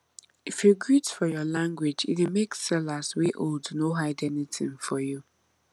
if you greet for your language e dey make sellers wey old no hide anything for you